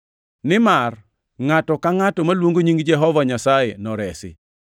nimar, “Ngʼato ka ngʼato maluongo nying Jehova Nyasaye noresi.” + 10:13 \+xt Joe 2:32\+xt*